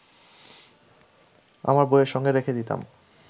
আমার বইয়ের সঙ্গে রেখে দিতাম